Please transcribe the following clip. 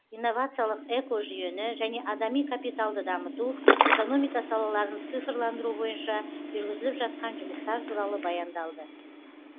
инновациялық экожүйені және адами капиталды дамыту экономика салаларын цифрландыру бойынша жүргізіліп жатқан жұмыстар туралы баяндалды